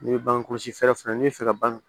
N'i ye bange kɔlɔsi fɛɛrɛ fana n'i bɛ fɛ ka ban